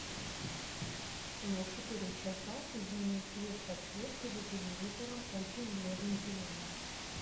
на четыре часа измени цвет подсветки за телевизором очень бледный зеленый